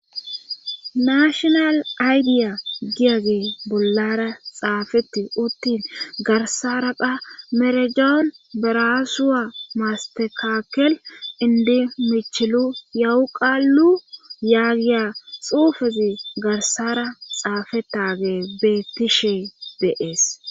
nashonal aydiya giyage bollara xaafetti uttin garsaraka merejoon barasuwa mastekakel indi michilu yawu qaallu yaagiya xuufezi garsara xaafettage bettishe deees